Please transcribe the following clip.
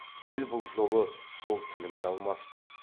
дәл бұл жолы сол тіліңді алмаспын